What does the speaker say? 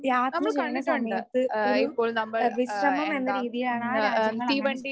യാത്ര ചെയ്യണ സമയത്ത് ഒരു ഏഹ് വിശ്രമം എന്ന രീതിയാണ് ആ രാജ്യങ്ങളങ്ങനെ